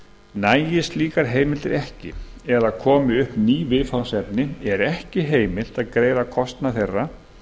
nægi slíkar heimildir ekki eða komi upp ný viðfangsefni er ekki heimilt að greiða kostnað þeirra